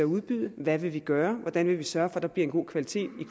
udbyde hvad vil vi gøre hvordan vil vi sørge for der bliver en god kvalitet i